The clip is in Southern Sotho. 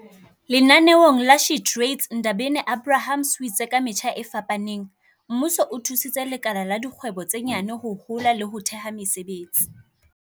Lenaneo la SheTrades Ndabeni-Abrahams o itse ka metjha e fapaneng, mmuso o thusitse lekala la dikgwebo tse nyane ho hola le ho theha mesebetsi."